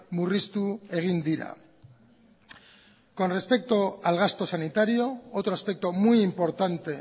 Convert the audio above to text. murriztu egin dira con respecto al gasto sanitario otro aspecto muy importante